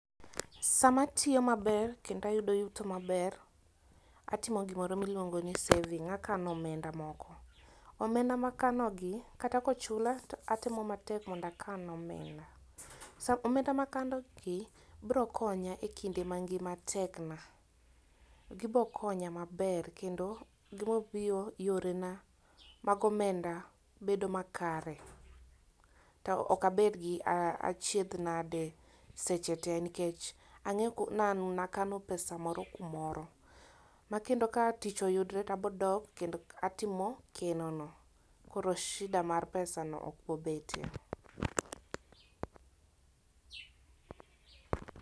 Sama atiyo maber kendo ayudo yuto maber, atimo gimi luongo ni saving akano omenda moko. Omenda makano gi kata kochula tatemo matek mondo akan omenda, Omenda makano gi biro konya e kinde ma ngima tek na . Gibo konya maber kendo gibo miyo yore na mag omenda bedo makare, to ok abed gi achiedh nade seche te nikech ang'eyo ku, ni an man akano pesa moro kumoro ma kendo ka tich oyudre tabodok kendo atimo keno no. Koro shida mar pesa no ok bo betie.